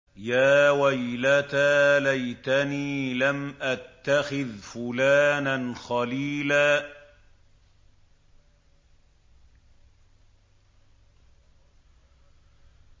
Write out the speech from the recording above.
يَا وَيْلَتَىٰ لَيْتَنِي لَمْ أَتَّخِذْ فُلَانًا خَلِيلًا